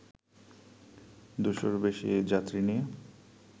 দুশোর বেশি যাত্রী নিয়ে